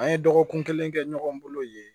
An ye dɔgɔkun kelen kɛ ɲɔgɔn bolo yen